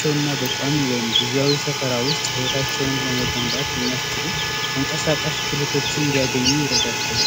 ቸውና በቋሚ ወይም ጊዜያዊ ሰፈር ውስጥ ህይወታቸውን ለመገንባት የሚያስችሉ ተንቀሳቀስ ክህሎቶችን እንዲያገኙ ይረዳቸዋል።